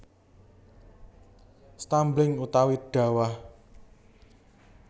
Stumbling utawi dawah